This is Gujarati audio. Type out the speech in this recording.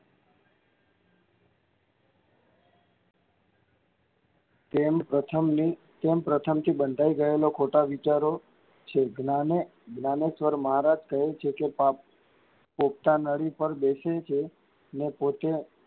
તેમ પ્રથમથી બંધાઈ ગયેલાં ખોટાં વિચારો છે. જ્ઞાનેશ્વર મહારાજ કહે છે કે પોપટા નળી પર બેસીએ છીયે અને પોતે,